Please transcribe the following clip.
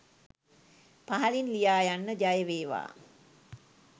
පහලින් ලියා යන්න ජයවේවා.